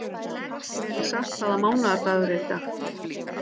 Melissa, hvaða mánaðardagur er í dag?